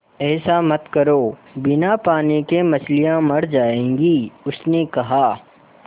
ऐसा मत करो बिना पानी के मछलियाँ मर जाएँगी उसने कहा